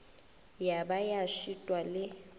ya ba ya šitwa le